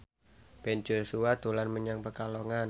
Ben Joshua dolan menyang Pekalongan